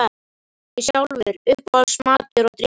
Ég sjálfur Uppáhalds matur og drykkur?